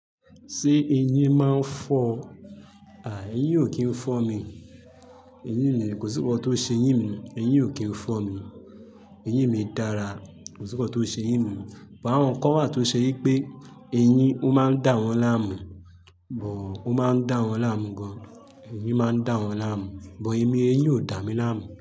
Ṣé eyín máa ń fọ́? À, eyín ò kí ń fọ́ mi. Eyín mi kò sí nkan tó ṣe eyín mi, eyín ò kí ń fọ́ mi. Eyín mi dára, kò síkọ́ tó ṣe eyín mi. But àwọn kan wa tó ṣe wípé eyín ó máa ń dá wọn láàmú, but ó máa ń dá wọn láàmú gan. Eyín máa ń dá wọn láàmú, but èmi, eyín ò dà mí láàmú.